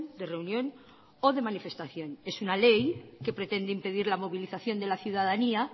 de reunión o de manifestación es una ley que pretende impedir la movilización de la ciudadanía